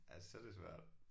Ja så er det svært